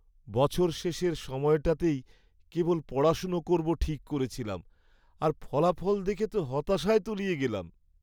বছর শেষের সময়টাতেই কেবল পড়াশোনা করব ঠিক করেছিলাম আর ফলাফল দেখে তো হতাশায় তলিয়ে গেলাম।